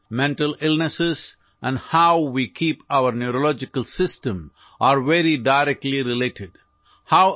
মানসিক ৰোগ আৰু আমাৰ স্নায়ুতন্ত্ৰৰ প্ৰত্যক্ষ সম্পৰ্ক আছে